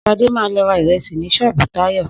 Sade ma lọ ra ìrẹsì ni ṣọ́ọ̀bú Táyọ̀